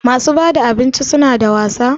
Masu bada abinci suna da wasa?